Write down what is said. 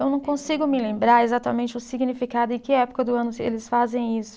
Eu não consigo me lembrar exatamente o significado e que época do ano eles fazem isso.